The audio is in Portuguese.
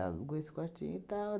esse quartinho e tal.